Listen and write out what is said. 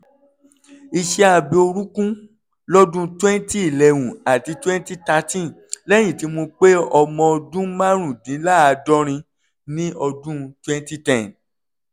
iṣẹ́-abẹ orúnkún lọ́dún 2011 àti 2013 lẹ́yìn tí mo pé ọmọ ọdún márùndínláàádọ́rin ní ọdún 2010